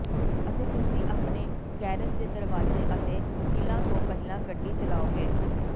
ਅਤੇ ਤੁਸੀਂ ਆਪਣੇ ਗੈਰੇਜ ਦੇ ਦਰਵਾਜ਼ੇ ਅਤੇ ਕਿੱਲਾਂ ਤੋਂ ਪਹਿਲਾਂ ਗੱਡੀ ਚਲਾਓਗੇ